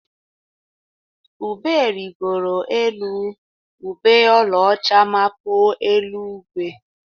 Ube rịgoro elu, ube ọlaọcha mapuo elu-igwe.